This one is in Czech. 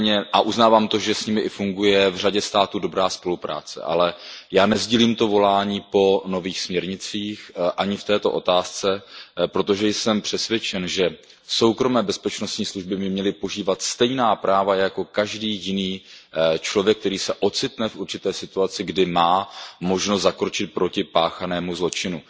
A uznávám i to, že s nimi funguje v řadě států dobrá spolupráce, ale nesdílím to volání po nových směrnicích ani v této otázce, protože jsem přesvědčen, že soukromé bezpečnostní služby by měly požívat stejná práva jako každý jiný člověk, který se ocitne v určité situaci, kdy má možnost zakročit proti páchanému zločinu.